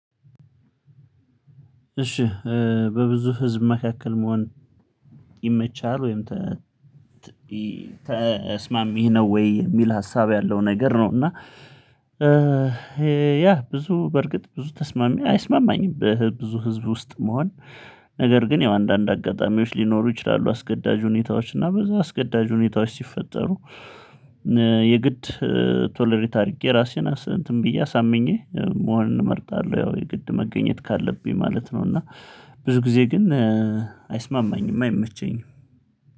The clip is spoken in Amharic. እሺ እ በብዙ ህዝብ መካከል መሆን ይመቻል ወይም ተ ተስማሚ ነው ወይ የሚል ሀሳብ ያለው ነገር ነው። እና እ ያ ብዙ በርግጥ ብዙ ተስማሚ አይስማማኝም ብዙ ህዝብ ውስጥ መሆን ነገር ግን ያው አንዳንድ አጋጣሚዎች ሊኖሩ ይችላሉ። አስገዳጅ ሁኔታዎች እና በዛ አስገዳጅ ሁኔታዎች ሲፈጠሩ። የግድ እ ቶለሬት አድርጌ ራሴን እንትን ብዬ አሳምኜ መሆን እመርጣለሁ ያው የግድ መገኘት ካለብኝ ማለት ነው። እና ብዙ ጊዜ ግን እ አይስማማኝም አይመቸኝም።